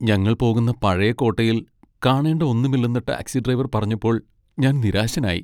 ഞങ്ങൾ പോകുന്ന പഴയ കോട്ടയിൽ കാണേണ്ട ഒന്നുമില്ലെന്ന് ടാക്സി ഡ്രൈവർ പറഞ്ഞപ്പോൾ ഞാൻ നിരാശനായി.